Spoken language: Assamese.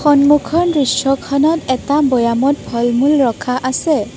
সন্মুখৰ দৃশ্যখনত এটা বৈয়ামত ফল-মূল ৰখা আছে।